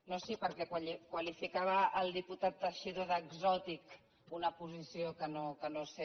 no sí perquè qualificava el diputat teixidó d’exòtica una posició que no sé